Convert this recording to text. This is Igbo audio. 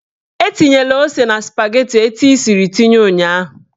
Etinyela ose na spageti etu ị siri tinye ụnyaahụ!